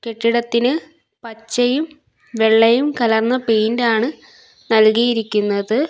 കെട്ടിടത്തിന് പച്ചയും വെള്ളയും കലർന്ന പെയിന്റ് ആണ് നൽകിയിരിക്കുന്നത്.